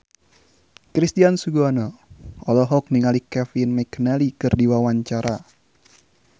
Christian Sugiono olohok ningali Kevin McNally keur diwawancara